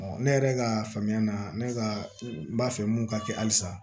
ne yɛrɛ ka faamuya la ne ka n b'a fɛ mun ka kɛ halisa